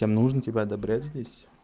тем нужно тебя одобрять здесь